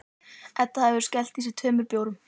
Edda hefur skellt í sig tveim bjórum.